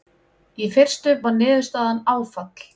Í fyrstu var niðurstaðan áfall.